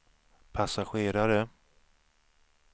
passagerare